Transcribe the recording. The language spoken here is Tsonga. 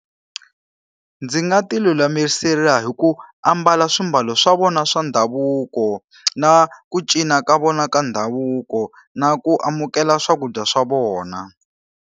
Ndzi nga ti lulamisela hi ku ambala swiambalo swa vona swa ndhavuko, na ku cinca ka vona ka ndhavuko, na ku amukela swakudya swa vona.